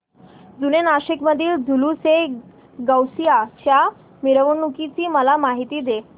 जुने नाशिक मधील जुलूसएगौसिया च्या मिरवणूकीची मला माहिती दे